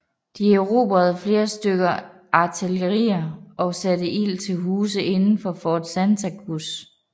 De erobrede flere stykker artilleri og satte ild til huse inden for Fort Santa Cruz